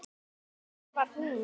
En hver var hún?